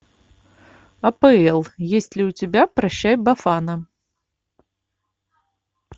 апл есть ли у тебя прощай бафана